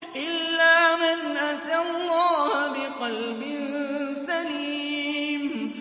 إِلَّا مَنْ أَتَى اللَّهَ بِقَلْبٍ سَلِيمٍ